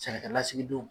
Sɛnɛkɛlasigidenw